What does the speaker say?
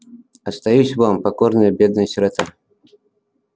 остаюсь вам покорная бедная сирота